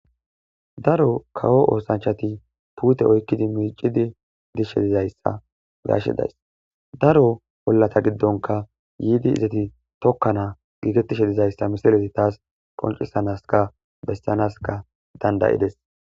Daro kawo osanchati pute oyqidi mic'idi dishe dizaysa be'ashe days daro olata gidonka yidi yidi tikana gigetishe dizaysa missilezi tas qonc'isanaska besanaska danda'des.